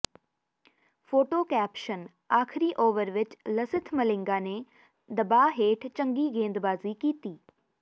photo caption ਆਖ਼ਿਰੀ over ਵਿੱਚ ਲਸਿਥ ਮਲਿੰਗਾ ਨੇ ਦਬਾਅ ਹੇਠ ਚੰਗੀ ਗੇਂਦਬਾਜ਼ੀ ਕੀਤੀ